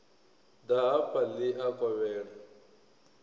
ḓa hafha ḽi a kovhela